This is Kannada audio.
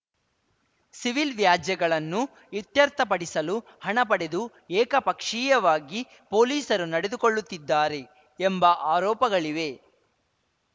ಸಿವಿಲ್‌ ವ್ಯಾಜ್ಯಗಳನ್ನು ಇತ್ಯರ್ಥಪಡಿಸಲು ಹಣ ಪಡೆದು ಏಕಪಕ್ಷೀಯವಾಗಿ ಪೊಲೀಸರು ನಡೆದುಕೊಳ್ಳುತ್ತಿದ್ದಾರೆ ಎಂಬ ಆರೋಪಗಳಿವೆ